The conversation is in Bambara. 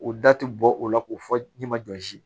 O da ti bɔ o la k'o fɔ ne ma jɔsi